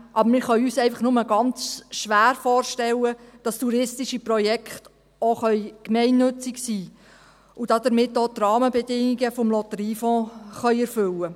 Aber wir können uns einfach nur ganz schwer vorstellen, dass touristische Projekte auch gemeinnützig sein und damit auch die Rahmenbedingungen des Lotteriefonds erfüllen können.